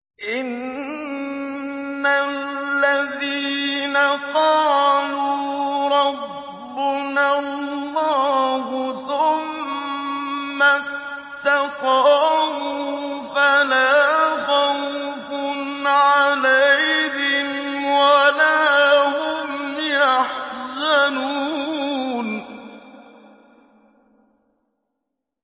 إِنَّ الَّذِينَ قَالُوا رَبُّنَا اللَّهُ ثُمَّ اسْتَقَامُوا فَلَا خَوْفٌ عَلَيْهِمْ وَلَا هُمْ يَحْزَنُونَ